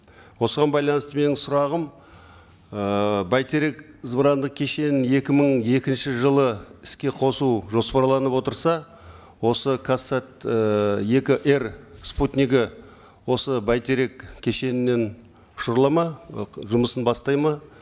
осыған байланысты менің сұрағым ыыы бәйтерек зымырандық кешенін екі мың екінші жылы іске қосу жоспарланып отырса осы казсат ы екі эр спутнигі осы бәйтерек кешенінен ұшырылады ма ы жұмысын бастайды ма